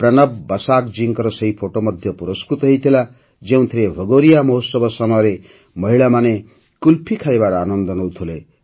ପ୍ରନବ ବସାକ ଜୀଙ୍କ ସେହି ଫଟୋ ମଧ୍ୟ ପୁରସ୍କୃତ ହୋଇଥିଲା ଯେଉଁଥିରେ ଭଗୋରିୟା ମହୋତ୍ସବ ସମୟରେ ମହିଳାମାନେ କୁଲ୍ଫି ଖାଇବାର ଆନନ୍ଦ ନେଉଥିଲେ